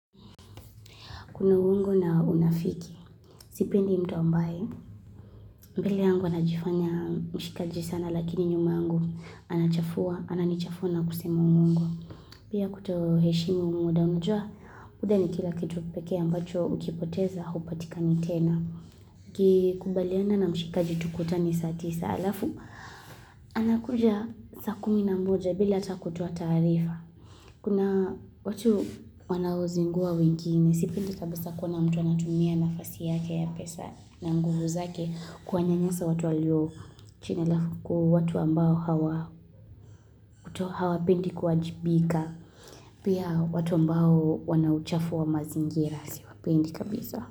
Kuna uongo na unafiki. Sipendi mtu ambaye. Mbele yangu anajifanya mshikaji sana lakini nyuma yangu anachafua. Ananichafua na kusemu uongo. Pia kutoheshimu muda. Unujua muda ni kila kitu peke ambacho ukipoteza upatika ni tena. Kikubaliana na mshikaji tukutane saa tisa alafu. Anakuja sa kumi na mboja bila ata kutoa tarifa. Kuna watu wanaozingua wengine. Sipindi tabisa kuona mtu anatumia nafasi yake ya pesa na nguvu zake kuanyanyasa watu walio chine lafuku watu ambao hawa pindi kuajibika. Pia watu ambao wanauchafu wa mazingira siwapendi kabisa.